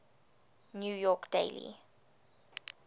new york daily